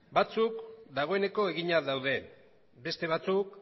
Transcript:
batzuk dagoeneko eginak daude beste batzuk